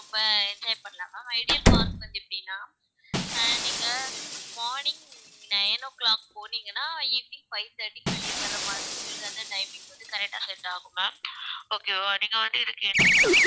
ரொம்ப enjoy பண்ணலாம் ma'am ideal park வந்து எப்படின்னா அஹ் நீங்க morning nine o'clock போனீங்கன்னா evening five thirty க்கு வெளியே வர்ற மாதிரி உங்களுக்கு அந்த timing வந்து correct ஆ set ஆகும் ma'am okay வா நீங்க வந்து இதுக்கு entry ticket